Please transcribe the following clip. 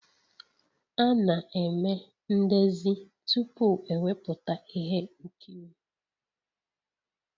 A na-eme ndezi tupu ewepụta ihe nkiri